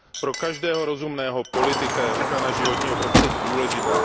Pro každého rozumného politika je ochrana životního prostředí důležitá.